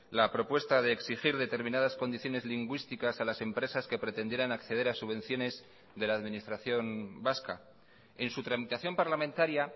la propuesta de exigir determinadas condiciones lingüísticas a las empresas que pretendieran acceder a subvenciones de la administración vasca en su tramitación parlamentaria